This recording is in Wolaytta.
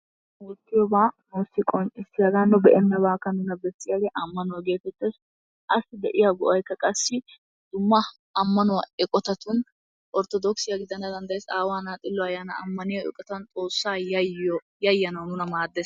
Oottiyogaa loytti qonccissiyaaga nu be'enabaakka nuna besiyagee ammanuwa geetettees, assi de'iya go'aykka qassi dumma ammanuwa eqotattun orttodookkisiya gidana danddayees, aawaa na'a xillo ayaanan ammaniya ubbata Xoossaa yayyanawu nuna maaddees.